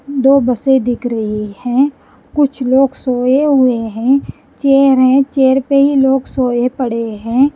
दो बसें दिख रही हैं कुछ लोग सोए हुए हैं चेयर हैं चेयर पे ही लोग सोए पड़े हैं।